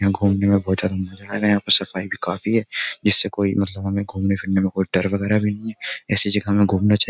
यहां घूमने में बहुत ज्यादा मजा आएगा यहां पर सफाई भी काफी है जिससे कोई मतलब हमें घूमने फिरने में कोई डर वगैरह भी नहीं है ऐसी जगह हमें घूमना चाहिए।